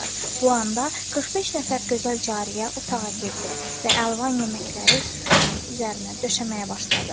Bu anda 45 nəfər gözəl cariyə otağa girdi və əlvan yeməkləri süfrənin üzərinə döşəməyə başladı.